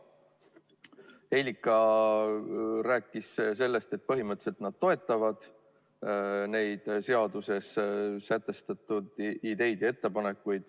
Helika rääkis sellest, et põhimõtteliselt nad toetavad seaduses sätestatud ideid ja ettepanekuid.